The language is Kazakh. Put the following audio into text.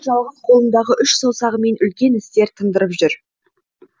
шебер жалғыз қолындағы үш саусағымен үлкен істер тындырып жүр